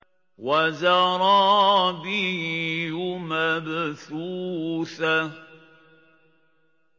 وَزَرَابِيُّ مَبْثُوثَةٌ